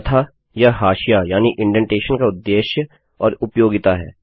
तथा यह हाशिया यानि इन्डेन्टेशन का उद्देश्य और उपयोगिता है